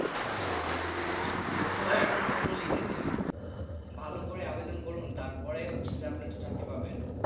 পত্র লিখে দিন ভালো করে আবেদন করুন তারপর তো হচ্ছে চাকরি আপনি পাবেন।